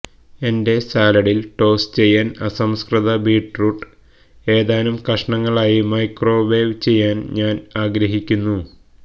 എന്റെ സാലഡിൽ ടോസ് ചെയ്യാൻ അസംസ്കൃത ബീറ്റ്റൂട്ട് ഏതാനും കഷണങ്ങളായി മൈക്രോവേവ് ചെയ്യാൻ ഞാൻ ആഗ്രഹിക്കുന്നു